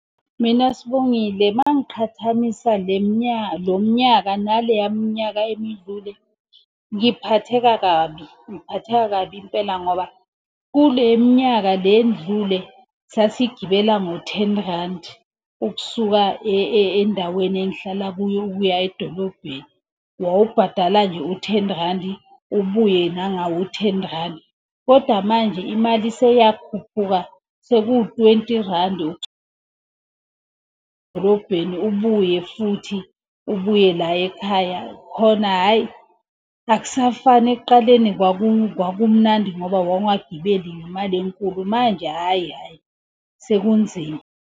Mina Sibongile uma ngiqhathanisa le mnyaka, lo mnyaka naleya minyaka emidlule, ngiphatheka kabi. Ngiphatheka kabi impela ngoba kule minyaka le endlule sasigibela ngo-ten randi. Ukusuka endaweni engihlala kuyo ukuya edolobheni, wawubhadala nje u-ten randi ubuye nangawo u-ten randi. Kodwa manje imali seyakhuphuka seku-twenty randi edolobheni ubuye futhi ubuye la ekhaya. Khona hhayi akusafani ekuqaleni kwakumnandi ngoba wawungagibeli ngemali enkulu manje, hhayi hhayi sekunzima.